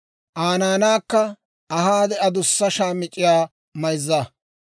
Aa naanaakka ahaade adussa shaamic'c'iyaa mayza.